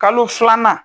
Kalo filanan